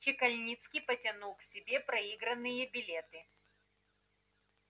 чекальнницкий потянул к себе проигранные билеты